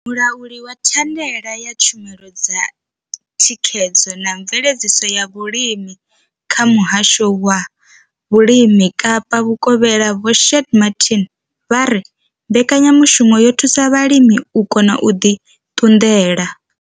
Mulauli wa thandela ya tshumelo dza thikhedzo na mveledziso ya vhulimi kha muhasho wa vhulimi Kapa vhukovhela Vho Shaheed Martin vha ri mbekanyamushumo yo thusa vhalimi u kona u ḓi ṱunḓela.